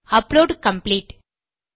upload complete